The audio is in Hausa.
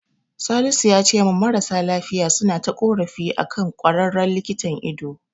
Salisu yace min marasa lafiya suna ta ƙorafi akan ƙwararren likitan ido.